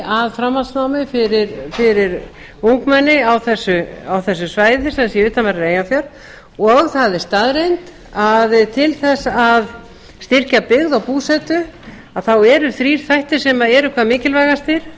að framhaldsnámi fyrir ungmenni á þessu svæði sem sé við utanverðan eyjafjörð og það er staðreynd að til þess að styrkja byggð og búsetu þá eru þrír þættir sem eru hvað mikilvægastir